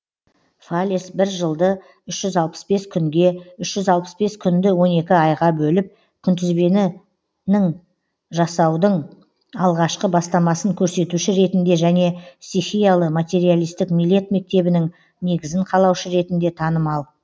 фалес бір жылды үш жүз алпыс бес күнге үш жүз алпыс бес күнді он екі айға бөліп күнтізбенің жасаудың алғашқы бастамасын көрсетуші ретінде және стихиялы материалистік милет мектебінің негізін қалаушы ретінде танымал